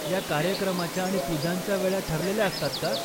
या कार्यक्रमाच्या आणि पूजांच्या वेळा ठरलेल्या असतात का?